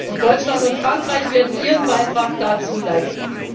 Und Deutschland und Frankreich werden ihren Beitrag dazu leisten.